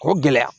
K'o gɛlɛya